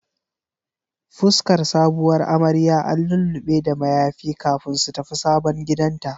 Fuskar sabuwar amarya an lullube da mayafi kafin su tafi sabon gidanta.